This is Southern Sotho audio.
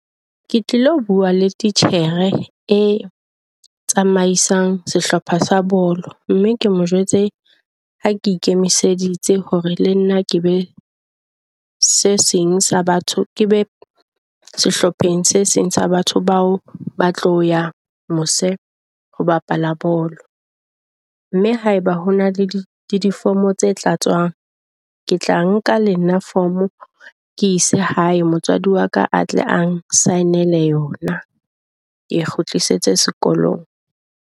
Ke tlilo bua le titjhere e tsamaisang sehlopha sa bolo. Mme ke mo jwetse ha ke ikemiseditse hore le nna ke be se seng sa batho, ke be sehlopheng se seng sa batho bao ba tlo ya mose ho bapala bolo. Mme haeba hona le di-form-o tse tlatswang, ke tla nka le nna form ke ise hae motswadi wa ka a tle a sign-ele yona e kgutlisetswe sekolong.